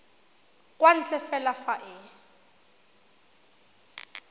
kwa ntle fela fa e